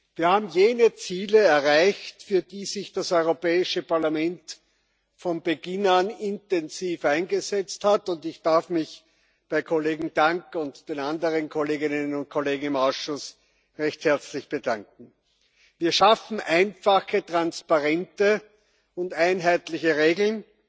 Wir haben jene Ziele erreicht, für die sich das Europäische Parlament von Beginn an intensiv eingesetzt hat, und ich darf mich bei Kollegen Tang und den anderen Kolleginnen und Kollegen im Ausschuss recht herzlich bedanken. Wir schaffen einfache, transparente und einheitliche Regeln